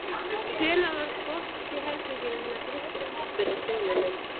Hvenær var frost í herberginu hennar Kristínar? spurði sonur minn.